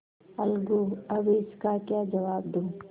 अलगूअब इसका क्या जवाब दूँ